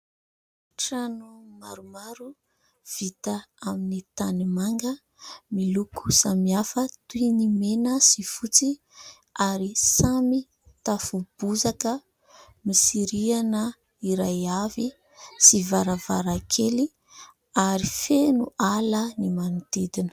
Trano maromaro vita amin'ny tanimanga miloko samihafa toy ny : mena sy fotsy ary samy tafo bozaka. Misy rihana iray avy sy varavarankely ary feno ala ny manodidina.